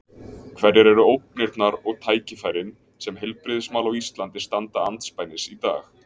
Hverjar eru ógnirnar og tækifærin sem heilbrigðismál á Íslandi standa andspænis í dag?